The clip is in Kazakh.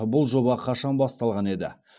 бұл жоба қашан басталған еді